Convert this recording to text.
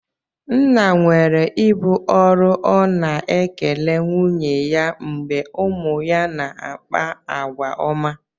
Nna nwere ibu ọrụ ọ̀ na ekele nwunye ya mgbe ụmụ ya na-akpa àgwà ọma?